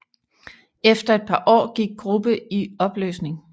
Efter et par år gik gruppe i opløsning